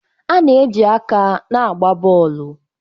A na-eji aka na-agba bọọlụ.